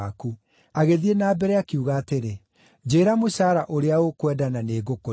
Agĩthiĩ na mbere, akiuga atĩrĩ, “Njĩĩra mũcaara ũrĩa ũkwenda na nĩ ngũkũrĩha.”